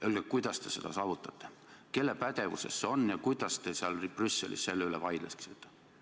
Öelge, kuidas te seda saavutate, kelle pädevuses see on ja kuidas te Brüsselis selle üle vaidleksite.